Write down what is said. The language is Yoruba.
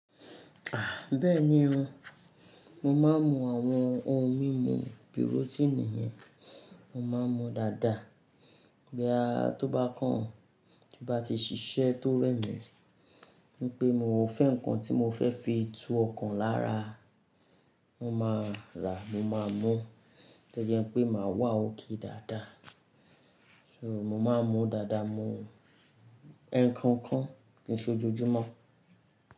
Ah! Bẹ́ẹ̀ni o, mo máa ń mu àwọn ohun mímu bíi rótínì yẹn, mo máa ń mu dáadáa. Boyavtọ́ bá kàn, tí bá ti ṣíṣe tó rẹ̀mí, ní pé mo fẹ́ nǹkan tí mo fẹ́ fi tú ọkàn lára, mo máa rà, mo máa mú. Tẹ́ẹ̀ jẹ́ pé màá wà òkè dáadáa. So mo máa ń mu dáadáa, mo ń mu ẹ́ńkán kan kí n ṣe ojojumo.